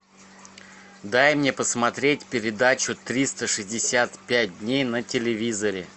дай мне посмотреть передачу триста шестьдесят пять дней на телевизоре